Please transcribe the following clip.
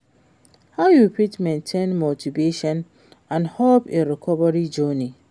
how you fit maintain motivation and hope in recovery journey?